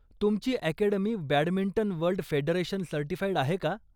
तुमची academy badminton world federation certified आहे का?